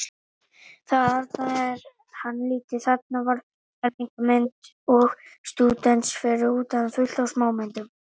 Þarna var hann lítill, þarna var fermingarmynd og stúdentsmynd, fyrir utan fullt af smámyndum.